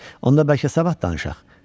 Onda bəlkə sabah danışaq.